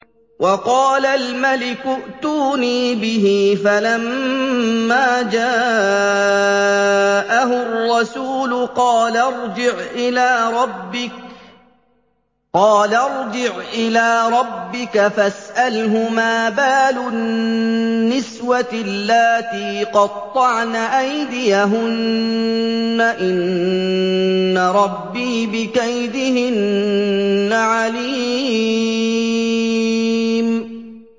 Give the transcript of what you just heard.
وَقَالَ الْمَلِكُ ائْتُونِي بِهِ ۖ فَلَمَّا جَاءَهُ الرَّسُولُ قَالَ ارْجِعْ إِلَىٰ رَبِّكَ فَاسْأَلْهُ مَا بَالُ النِّسْوَةِ اللَّاتِي قَطَّعْنَ أَيْدِيَهُنَّ ۚ إِنَّ رَبِّي بِكَيْدِهِنَّ عَلِيمٌ